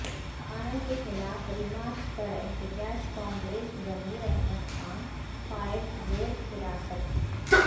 مسلمانوں کے خلاف ریمارکس پر احتجاج کانگریس ضمیر احمد خان قائد زیرحراست